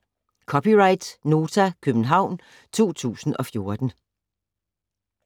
(c) Nota, København 2014